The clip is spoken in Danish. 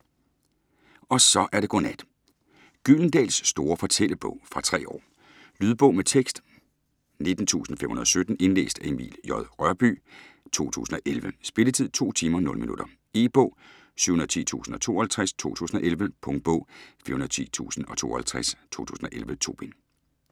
Og så er det godnat! Gyldendals store fortællebog. Fra 3 år. Lydbog med tekst 19517 Indlæst af Emil J. Rørbye, 2011. Spilletid: 2 timer, 0 minutter. E-bog 710052 2011. Punktbog 410052 2011. 2 bind.